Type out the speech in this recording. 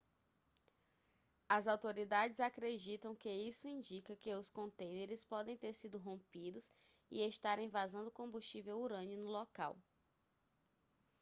as autoridades acreditam que isso indica que os contêineres podem ter sido rompidos e estarem vazando combustível urânio no local